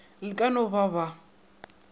le ka no ba ba